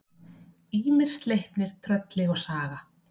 Ýmir, Sleipnir, Trölli og Saga.